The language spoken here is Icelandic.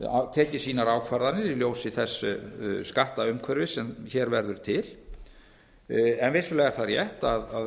tekið sínar ákvarðanir í ljósi þess skattumhverfis sem hér verður til vissulega er það þó rétt að